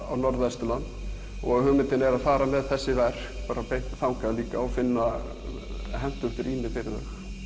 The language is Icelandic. á Norðvesturland hugmyndin er að fara með þessi verk beint þangað líka og finna hentugt rými fyrir þau